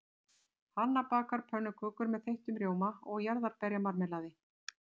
Hanna bakar pönnukökur með þeyttum rjóma og jarðarberjamarmelaði.